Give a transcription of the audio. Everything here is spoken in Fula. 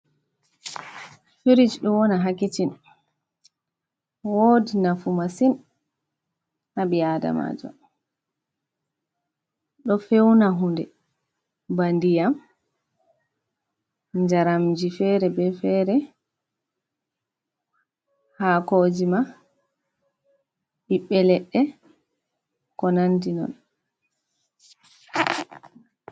Firij ɗo wona ha kicin, wodi nafu masin ha ɓii adamajo, do feuna hunde, ba ndiyam jaramji fere be fere, hakoji ma, ɓiɓɓe leɗɗe ko nandi non.